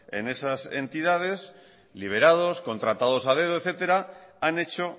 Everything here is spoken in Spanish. en esas entidades liberados contratados a dedo etcétera han hecho